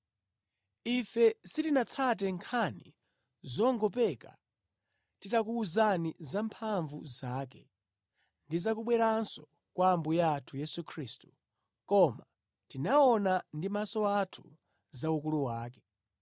Ife sitinatsate nkhani zongopeka titakuwuzani za mphamvu zake ndi zakubweranso kwa Ambuye athu Yesu Khristu, koma tinaona ndi maso athu za ukulu wake.